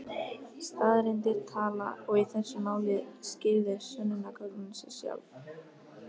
Staðreyndir tala og í þessu máli skýrðu sönnunargögnin sig sjálf.